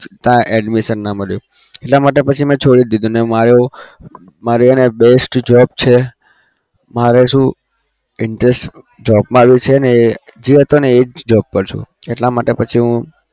ત્યાં admission ના મળ્યું. એના માટે પછી મેં છોડી દીધુંને મારે એવું મારી હેને best job છે. મારે શું interest job મા છે એ જે જતો એ જ job પર છું